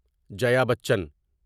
جیا بچن